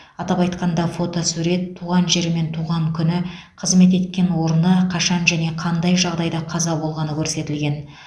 атап айтқанда фотосурет туған жері мен туған күні қызмет еткен орны қашан және қандай жағдайда қаза болғаны көрсетілген